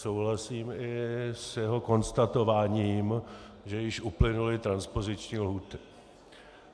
Souhlasím i s jeho konstatováním, že již uplynuly transpoziční lhůty.